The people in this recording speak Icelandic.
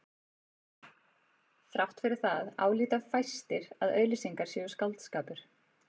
Þrátt fyrir það álíta fæstir að auglýsingar séu skáldskapur.